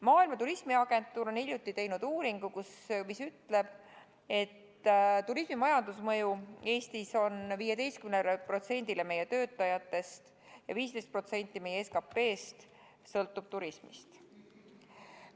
Maailma Turismiorganisatsioon on hiljuti teinud uuringu, mis ütleb, et turismi majandusmõju Eestis on 15%-le meie töötajatest ja 15% meie SKP-st sõltub turismist.